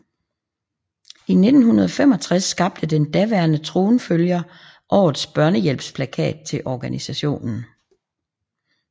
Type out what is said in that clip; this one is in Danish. I 1965 skabte den daværende tronfølger årets Børnehjælpsdagsplakat til organisationen